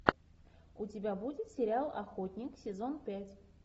у тебя будет сериал охотник сезон пять